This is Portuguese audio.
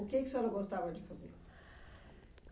O que que a senhora gostava de fazer?